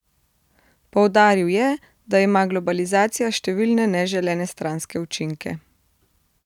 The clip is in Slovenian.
Poudaril je, da ima globalizacija številne neželene stranske učinke.